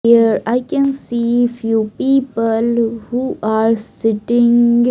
Here I can see few people who are sitting --